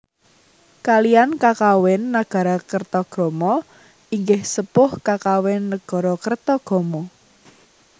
Kaliyan kakawin Nagarakretagama inggih sepuh kakawin Nagarakretagama